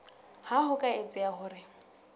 ha ho ka etseha hore